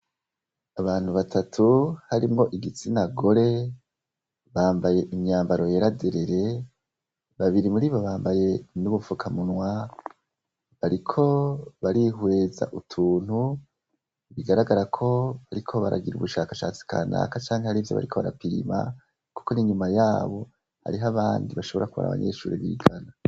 Abantu batatu harimwo igitsinagore, bambaye imyambaro yera derere, babiri muribo bambaye n'udufukamunwa bariko barihweza utuntu bigaragara ko bariko baragira ubushakashatsi kanaka canke hariho ivyo bariko barapimisha, kuko n'inyuma yabo hariho abandi bashobora kuba ari abanyeshure bigana.